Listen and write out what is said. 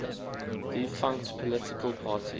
defunct political parties